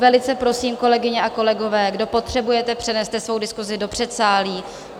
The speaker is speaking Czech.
Velice prosím, kolegyně a kolegové, kdo potřebujete, přeneste svoji diskusi do předsálí.